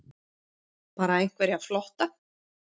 Bara einhverja flotta